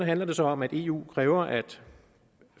handler det så om at eu kræver at